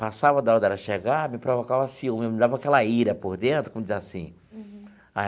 Passava da hora dela chegar, me provocava ciúme, me dava aquela ira por dentro, como diz assim.